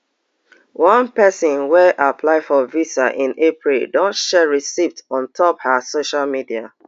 one pesin wey apply for visa in april don share receipts on top her social media